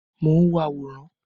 Mo n wo àwòrán.